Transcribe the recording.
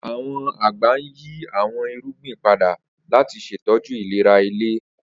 Awọn agbẹ n yi awọn irugbin pada lati ṣetọju ilera ile.